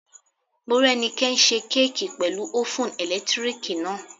Morẹ́nikẹ́ n ṣe kéèkì pẹ̀lú ófùn ẹ̀lẹ́tíríkì náà